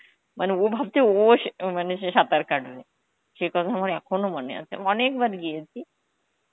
মানে ও ভাবছে ও স~ মানে সে সাঁতার কাটবে. কথা আমার এখনো মনে আছে, অনেকবার গিয়েছি.